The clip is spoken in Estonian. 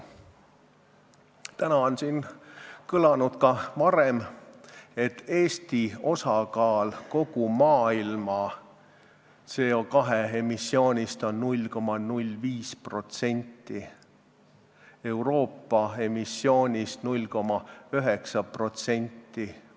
Täna on siin ka varem kõlanud, et Eesti osakaal kogu maailma CO2 emissioonis on 0,05% ja Euroopa emissioonis 0,9%.